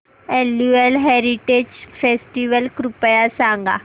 annual heritage festival कृपया सांगा